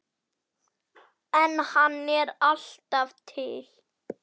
En hann er alltaf til.